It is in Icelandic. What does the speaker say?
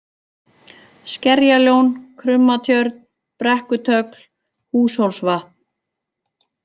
Skerjalón, Krummatjörn, Brekkutögl, Húshólsvatn